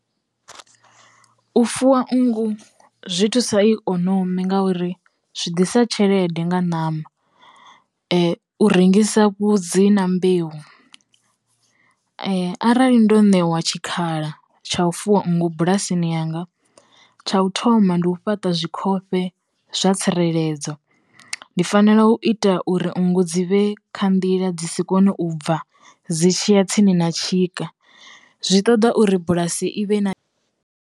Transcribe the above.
U fuwa nngu zwi thusa ikonomi ngauri zwi ḓisa tshelede nga ṋama, u rengisa vhudzi na mbeu arali ndo ṋewa tshikhala tsha u fuwa nngu bulasini yanga tsha u thoma ndi u fhaṱa zwi khofhe zwa tsireledzo. Ndi fanela u ita uri nngu dzi vhe kha nḓila dzi si kone u bva dzi tshiya tsini na tshika zwi ṱoḓa uri bulasi i vhe na.